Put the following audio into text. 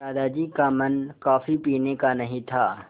दादाजी का मन कॉफ़ी पीने का नहीं था